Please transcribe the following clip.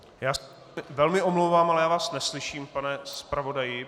Já se velmi omlouvám, ale já vás neslyším, pane zpravodaji.